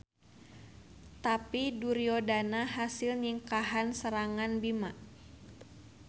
Tapi Duryodana hasil nyingkahan serangan Bima.